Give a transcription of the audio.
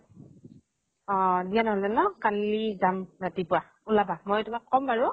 অ দিয়া নহলে ন কালি যাম ৰাতিপৱা, ওলাবা। মই তোমাক কম বাৰু।